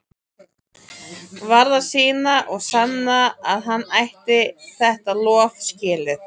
Varð að sýna og sanna að hann ætti þetta lof skilið.